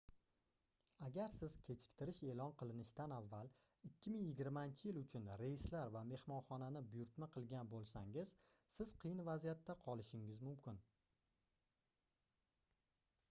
agar siz kechiktirish eʼlon qilinishidan avval 2020-yil uchun reyslar va mehmonxonani buyurtna qilgan boʻlsangiz siz qiyin vaziyatda qolishingiz mumkin